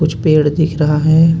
कुछ पेड़ दिख रहा है.